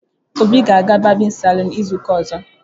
Obi ga-aga barbịn salụn izu ụka ozo.